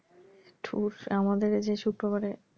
ধুস আমাদের এইযে শুক্রবারে,